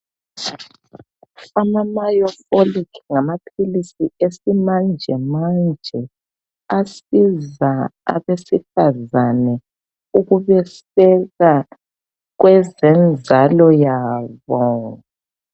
AmaMiofolic ngamaphilisi esimanjemanje asiza abesifazane ukubeseka kweze nzalo yabo.